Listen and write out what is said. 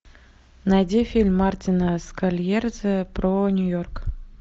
найди фильм мартина скорсезе про нью йорк